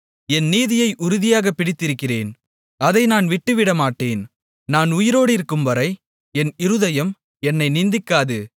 என் நீதியை உறுதியாகப் பிடித்திருக்கிறேன் அதை நான் விட்டுவிடமாட்டேன் நான் உயிரோடிருக்கும்வரை என் இருதயம் என்னை நிந்திக்காது